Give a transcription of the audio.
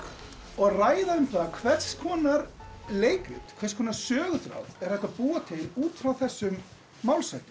og ræða um það hvers konar leikrit hvers konar söguþráð er hægt að búa til út frá þessum málshætti